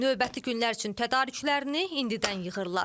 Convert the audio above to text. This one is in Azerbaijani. Növbəti günlər üçün tədarüklərini indidən yığırlar.